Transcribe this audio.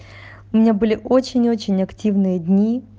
у меня были очень очень активные дни